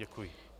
Děkuji.